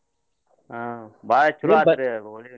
ಹ್ಮ್ ಬಾಳ್ ಚಲೋ ಆತ್